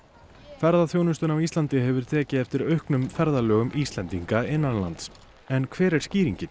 ferðaþjónustan á Íslandi hefur tekið eftir auknum ferðalögum Íslendinga innanlands en hver er skýringin